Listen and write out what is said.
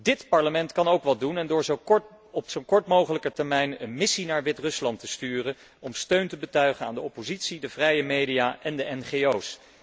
Dit Parlement kan ook wat doen door op zo kort mogelijke termijn een missie naar Wit Rusland te sturen om steun te betuigen aan de oppositie, de vrije media en de NGO's.